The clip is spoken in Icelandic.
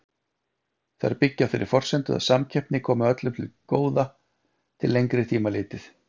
Þær byggja á þeirri forsendu að samkeppni komi öllum til góða til lengri tíma litið.